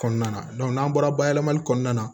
Kɔnɔna na n'an bɔra bayɛlɛmali kɔnɔna na